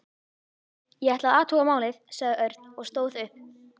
Ég ætla að athuga málið, sagði Örn og stóð upp.